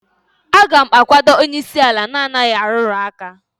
a ga m akwado onye isi ala na-anaghị arụrụ aka